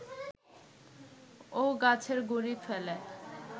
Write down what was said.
ও গাছের গুঁড়ি ফেলে